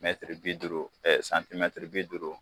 Mɛtiri bi duuru santimɛtiri bi duuru